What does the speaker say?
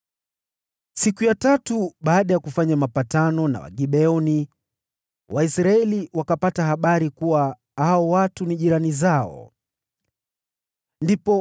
Siku ya tatu baada ya hao kufanya mapatano na Wagibeoni, Waisraeli wakapata habari kuwa hao watu ni jirani zao waliokuwa wanaishi karibu nao.